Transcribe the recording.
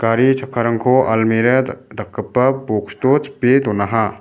gari chakkarangko almera dak-dakgipa boks o chipe donaha.